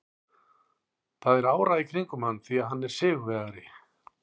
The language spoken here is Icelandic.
Það er ára í kringum hann því hann er sigurvegari.